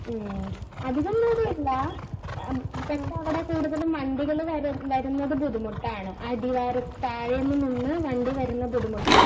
മ്മ് അധികം ദൂരമില്ല പക്ഷേ അവിടെ കൂടുതലും വണ്ടികൾ വരുന്നത് ബുദ്ധിമുട്ടാണ്. അടിവാരത് താഴെ നിന്ന് വണ്ടികൾ വരുന്നത് ബുദ്ധിമുട്ടാണ്.